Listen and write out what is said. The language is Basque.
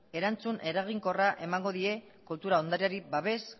erantzun eraginkorra emango die kultura ondareari babes